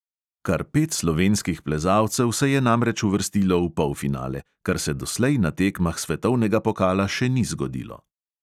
Kar pet slovenskih plezalcev se je namreč uvrstilo v polfinale, kar se doslej na tekmah svetovnega pokala še ni zgodilo.